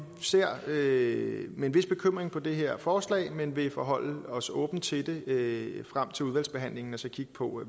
ser med med en vis bekymring på det her forslag men vil forholde os åbent til det frem til udvalgsbehandlingen og så kigge på